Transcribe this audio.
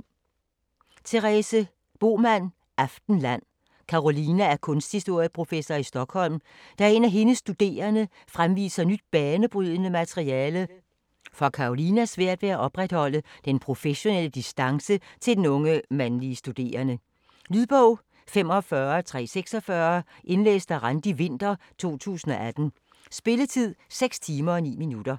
Bohman, Therese: Aftenland Karolina er kunsthistorieprofessor i Stockholm. Da en af hendes studerende fremviser nyt banebrydende materiale, får Karolina svært ved at opretholde den professionelle distance til den unge, mandlige studerende. Lydbog 45346 Indlæst af Randi Winther, 2018. Spilletid: 6 timer, 9 minutter.